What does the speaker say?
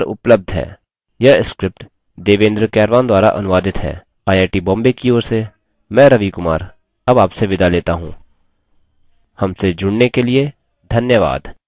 यह script देवेन्द्र कैरवान द्वारा अनुवादित है आई आई टी बॉम्बे की ओर से मैं रवि कुमार अब आपसे विदा लेता हूँ हमसे जुड़ने के लिए धन्यवाद